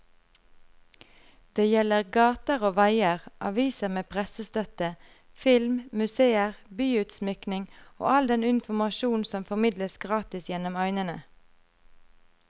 Det gjelder gater og veier, aviser med pressestøtte, film, museer, byutsmykning og all den informasjonen som formidles gratis gjennom øynene.